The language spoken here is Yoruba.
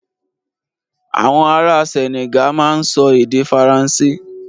Àwọn ará Senegal máa ń sọ èdè Faransé.